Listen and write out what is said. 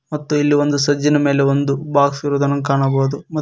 ಮತ್ತು ಇಲ್ಲಿ ಒಂದು ಸಜ್ಜಿನ ಮೇಲೆ ಒಂದು ಬಾಕ್ಸ್ ಇರುವುದನ್ನು ಕಾಣಬಹುದು.